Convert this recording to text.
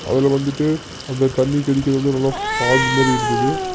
அதுல வந்துட்டு அந்த தண்ணி தெளிக்கிறது நல்லா ஃபால் மாரி இருக்குது.